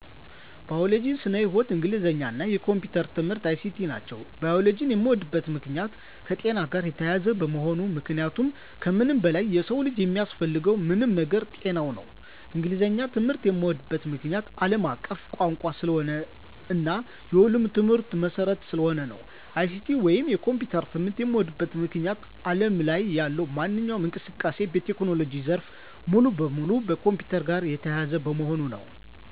ባዮሎጂ (ስነ-ህይዎት)፣ እንግሊዘኛ እና የኮምፒዩተር ትምህርት(ICT) ናቸው። ባዮሎጂን የምወድበት ምክንያት - የከጤና ጋር የተያያዘ በመሆኑ ምክንያቱም ከምንም በላይ የሰው ልጅ የሚያስፈልገው ዋናው ነገር ጤና ነው። እንግሊዘኛን ትምህርት የምዎድበት ምክንያት - አለም አቀፍ ቋንቋ ስለሆነ እና የሁሉም ትምህርቶች መሰረት ስለሆነ ነው። ICT ወይንም የኮምፒውተር ትምህርት የምዎድበት ምክንያት አለም ላይ ያለው ማንኛውም እንቅስቃሴ እና የቴክኖሎጂ ዘርፍ በሙሉ ከኮምፒውተር ጋር የተያያዘ በመሆኑ ነው።